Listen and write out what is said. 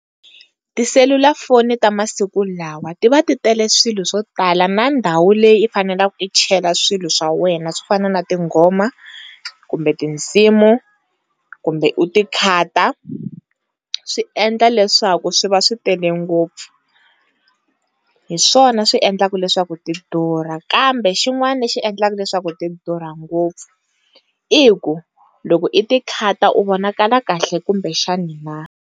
Tiselulafoni ta masiku lawa ti va ti tele swilo swo tala na ndhawu leyi i fanelaka u chela swilo swa wena swo fana na tinghoma kumbe tinsimu kumbe u ti khata swi endla leswaku swi va swi tele ngopfu, hi swona swi endlaka leswaku ti durha kambe xin'wana lexi endlaku leswaku ti durha ngopfu i ku loko i ti khata u vonakaka kahle kumbe xana na.